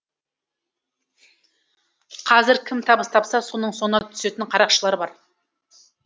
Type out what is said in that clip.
қазір кім табыс тапса соның соңына түсетін қарақшылар бар